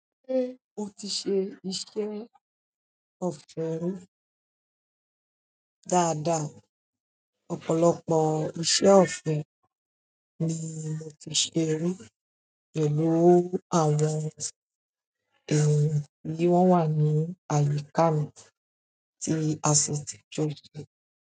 Ṣé o ti ṣe iṣẹ́ òfin dáadáa? Ọ̀pọ̀lọpọ̀ iṣẹ́ òfe ni mo ti ṣe rí pẹ̀lú àwọn èèyàn tí wọ́n wà ní àyíká mi tí a sì ti jọ̀yè.